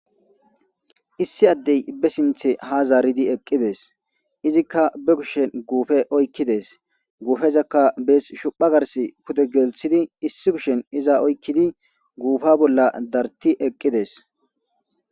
Issi addey be sinththe ha zaaridi eqqides. Izikka be kuushshen guffe oykiddes. Gufezaka bes shophpha garssi pude gelisidi issi kushshen iza oykkidi guffa bolla dartti eqqides.